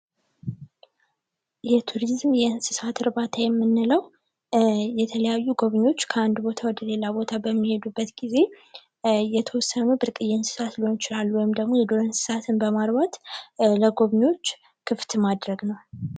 የቱሪዝም የእንስሳት እርባታ የምንለው የተለያዩ ጎብኚዎች ከአንድ ቦታ ወደ ሌላ ቦታ በሚሄዱበት ጊዜ እየተወሰኑ ብርቅዬ እንስሳት ሊሆን ይችላል፤ ወይም ደግሞ የዱር እንስሳትም በማርባት ለጎብኚዎች ክፍት ማድረግ ነው።